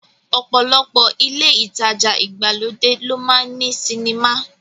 Ọ̀pọ̀lọpọ̀ ilé ìtajà ìgbàlódé ló máa ń ní sinimá